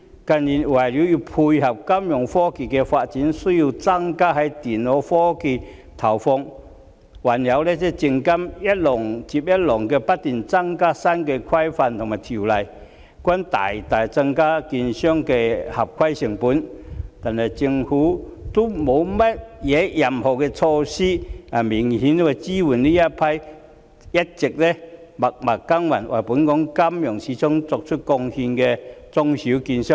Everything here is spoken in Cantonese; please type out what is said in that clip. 近年為配合金融科技發展，需要增加在電腦科技的資源投放，還有證券及期貨事務監察委員會一浪接一浪、不斷增加的新規管和條例，均大大增加券商的合規成本，但政府卻沒有任何措施能明顯支援這批一直默默耕耘，為本港金融市場作出貢獻的中小券商。